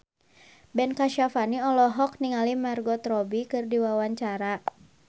Ben Kasyafani olohok ningali Margot Robbie keur diwawancara